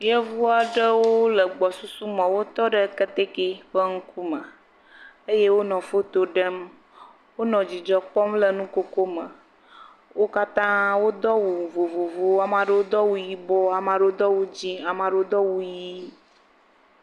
Yevu aɖewo le gbɔsusu me, wotɔ ɖe keteke ƒe ŋkume eye wonɔ foto ɖe. Wonɔ dzidzɔ kpɔm le nukoko me. Wo katã wò do awu vovovowo. Ame aɖewo do awu yibɔ, ame aɖewo do awu dzɛ, ame aɖewo do awu ɣi.